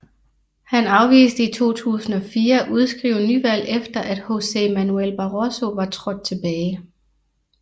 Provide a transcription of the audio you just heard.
Han afviste i 2004 at udskrive nyvalg efter at José Manuel Barroso var trådt tilbage